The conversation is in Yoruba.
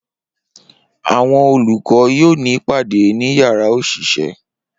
Awọn olukọ yoo ni ipade ni yara oṣiṣẹ